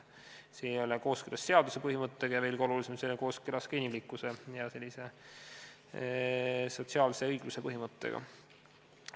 See ei ole kooskõlas seaduse põhimõttega ja, mis veel olulisemgi, see ei ole kooskõlas ka inimlikkuse ega sotsiaalse õigluse põhimõttega.